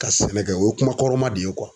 Ka sɛnɛ kɛ o ye kuma kɔrɔma de ye